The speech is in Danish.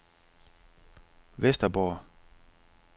Vesterborg